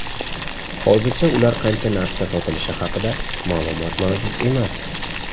Hozircha ular qancha narxda sotilishi haqida ma’lumot mavjud emas.